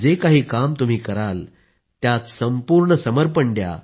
जे काही काम तुम्ही कराल त्यात संपूर्ण समर्पण द्या